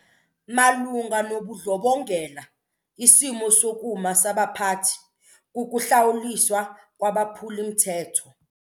Malunga nobundlobongela isimo sokuma sabaphathi kukuhlawuliswa kwabaphuli-mthetho.